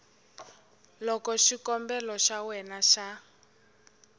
loko xikombelo xa wena xa